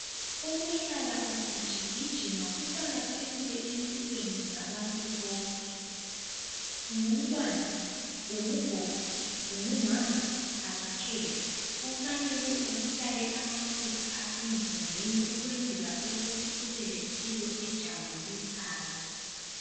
Ukuhlala ugijigijima kuqakathekile empilweni zabantu bonke. Ungumntwana, ungugogo, ungumama, kakukhethi. Kumele ubulale amafutha wonke ukuze ubelempilo ejabulisayo .